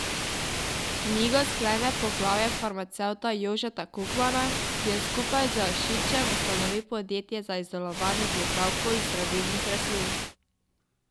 Knjigo sklene poglavje farmacevta Jožeta Kukmana, ki je skupaj z Ašičem ustanovil podjetje za izdelovanje pripravkov iz zdravilnih rastlin.